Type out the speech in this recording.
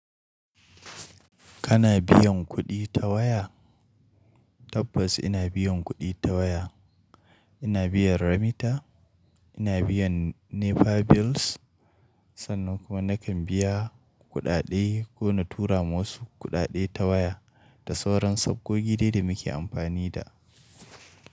Kana biyan kuɗi ta waya? Tabbas ina biyan kuɗi ta waya. Ina biyan Remita, ina biyan NEPA bills, sannan kuma nakan biya kuɗaɗe ko na tura masu kuɗaɗe ta waya da sauran sabgo gida da muke amfani da.